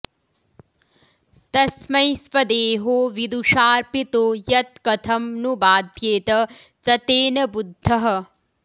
तस्मै स्वदेहो विदुषाऽर्पितो यत् कथं नु बाध्येत स तेन बुद्धः